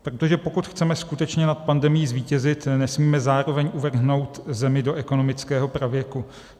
Protože pokud chceme skutečně nad pandemií zvítězit, nesmíme zároveň uvrhnout zemi do ekonomického pravěku.